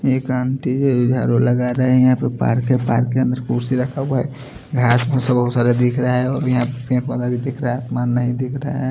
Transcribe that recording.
एक आंटी है जो झाड़ू लगा रही हैं। यहाँ पर पार्क है पार्क के अंदर कुर्सी रखा हुआ है घास फूस बहुत सारे दिख रहे है। और यहाँ पेड़-पौधा भी दिख रहा है। आसमान नहीं दिख रहा है।